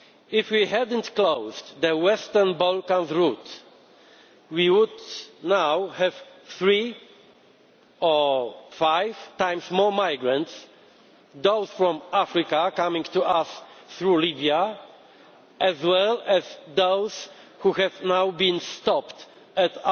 If we had not closed the Western Balkans route, we would now have three or five times more migrants those from Africa coming to us through Libya, as well as those who have now been stopped